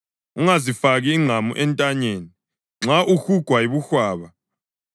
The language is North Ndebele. ungazifaki ingqamu entanyeni nxa uhugwa yibuhwaba.